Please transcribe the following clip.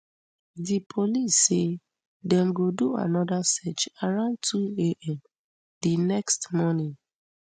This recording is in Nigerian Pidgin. di police say dem go do anoda search around twoam di next morning